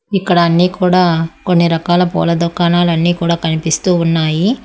ఇక్కడ అన్నీ కూడా కొన్ని రకాల పూల దుకాణాలన్నీ కూడా కనిపిస్తూ ఉన్నాయి.